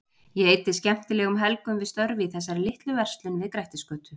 Ég eyddi skemmtilegum helgum við störf í þessari litlu verslun við Grettisgötu.